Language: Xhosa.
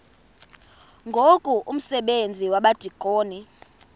ngoku umsebenzi wabadikoni